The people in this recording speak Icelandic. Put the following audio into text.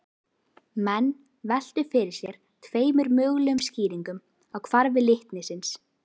Menn veltu fyrir sér tveimur mögulegum skýringum á hvarfi litnisins.